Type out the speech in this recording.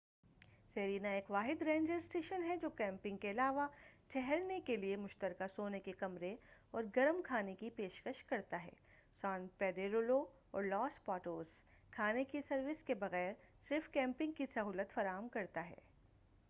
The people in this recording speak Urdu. سیرینا ایک واحد رینجر اسٹیشن ہے جو کیمپنگ کے علاوہ ٹھہرنے کیلئے مشترکہ سونے کے کمرے اور گرم کھانے کی پیشکش کرتا ہے سان پیڈریلو اور لاس پاٹوس کھانے کی سروس کے بغیر صرف کیمپنگ کی سہولت فراہم کرتا ہے